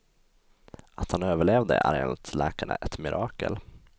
Att han överlevde är enligt läkarna ett mirakel.